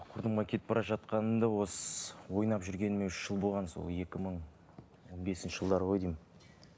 құрдымға кетіп бара жатқанымды осы ойнап жүргеніме үш жыл болған сол екі мың он бесінші жылдары ғой деймін